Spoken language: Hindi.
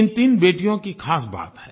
इन तीन बेटियों की ख़ास बात है